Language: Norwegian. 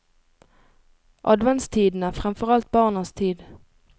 Adventstiden er fremfor alt barnas tid.